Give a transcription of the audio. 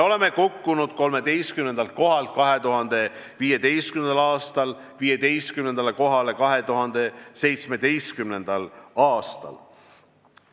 2015. aasta 13. kohalt kukkusime 15. kohale 2017. aastal.